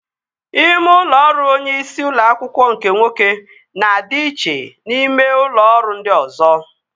Ime ụlọ ọrụ onye isi ụlọ akwụkwọ nke nwoke na-adị iche na ime ụlọ ọrụ ndị ọzọ